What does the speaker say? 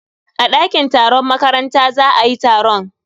A dakin taron makaranta za ayi taron.